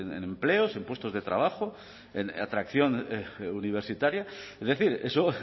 en empleos en puestos de trabajo en atracción universitaria es decir eso